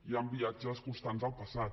hi han viatges constants al passat